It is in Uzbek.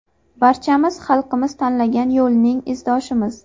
Barchamiz xalqimiz tanlagan yo‘lning izdoshimiz.